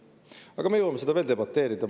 Aga me jõuame selle üle veel debateerida.